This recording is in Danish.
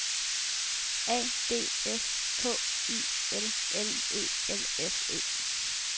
A D S K I L L E L S E